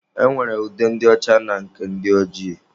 E nwere ude ndị ọcha na nke ndị ojii.